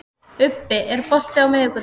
Ubbi, er bolti á miðvikudaginn?